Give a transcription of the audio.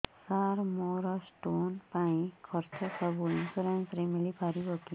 ସାର ମୋର ସ୍ଟୋନ ପାଇଁ ଖର୍ଚ୍ଚ ସବୁ ଇନ୍ସୁରେନ୍ସ ରେ ମିଳି ପାରିବ କି